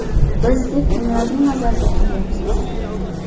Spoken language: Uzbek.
Biz deb kimlarni nazarda tutyapsiz?